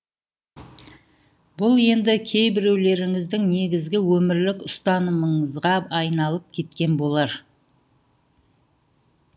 бұл енді кейбіреулеріңіздің негізгі өмірлік ұстанымыңызға айналып кеткен болар